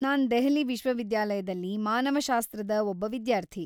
ನಾನ್‌ ದೆಹಲಿ ವಿಶ್ವವಿದ್ಯಾಲಯದಲ್ಲಿ ಮಾನವಶಾಸ್ತ್ರದ ಒಬ್ಬ ವಿದ್ಯಾರ್ಥಿ.